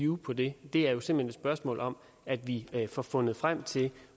vue på det det er jo simpelt hen et spørgsmål om at vi får fundet frem til